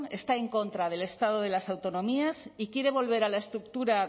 está en contra del estado de la autonomías y quiere volver a la estructura